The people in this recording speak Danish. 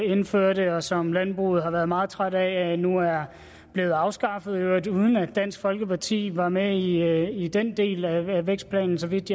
indførte og som landbruget har været meget træt af nu er blevet afskaffet i øvrigt uden at dansk folkeparti var med i den del af vækstplanen så vidt